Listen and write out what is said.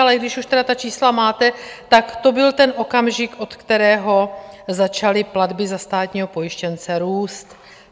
Ale když už tedy ta čísla máte, tak to byl ten okamžik, od kterého začaly platby za státního pojištěnce růst.